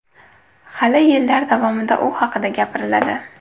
Hali yillar davomida u haqida gapiriladi.